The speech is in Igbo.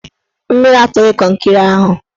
Mmiri atụghị kọnkịrị ahụ